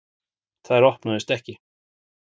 Þær opnuðust ekki.